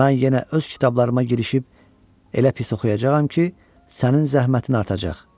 Mən yenə öz kitablarıma girişib elə pis oxuyacağam ki, sənin zəhmətin artacaq.